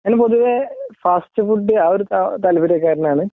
എന്നാലും പൊതുവേ ഫാസ്റ്റഫുഡ് ആ ഒരു താല്പര്യകാരനാണ്